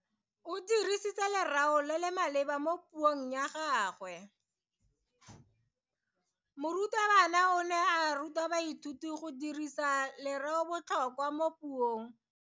O dirisitse lereo le le maleba mo puong ya gagwe. Morutabana o ne a ruta baithuti go dirisa lereobotlhokwa mo puong.